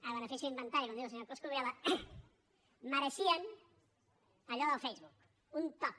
a benefici d’inventari com diu el senyor coscubiela mereixien allò del facebook un toc